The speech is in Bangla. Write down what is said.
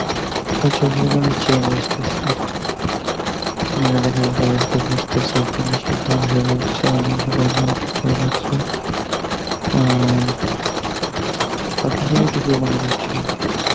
প্রচুর পরিমাণে change আসতেছে মানে দেখা যায় তাদের সাথে মিশতেছে, মিশে অ্যাঁ আপনি যে